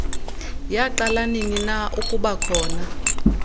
yaqala ninina ukubakhona